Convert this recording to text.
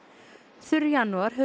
þurr janúar hefur